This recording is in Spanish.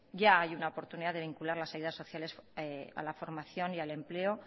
ya hay una oportunidad de vincular las ayudas sociales a la formación y al empleo